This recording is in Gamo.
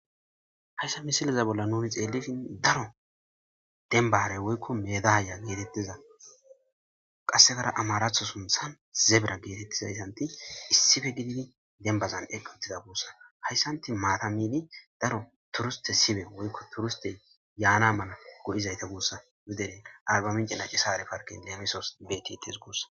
hayssa misiliza bolla nuni xeelifin daro denbare woykko medaaya geetettiza qassegara amaratho sunthan zebra geetettizayssanti issife gididi dembazan eqq uttida guussa hayssanti maatamidi daro turiste sibe woykko turiste yaana mala go7izayta guussa idere arbaminci nacisare parken leemisos betites guussa